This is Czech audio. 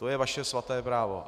To je vaše svaté právo.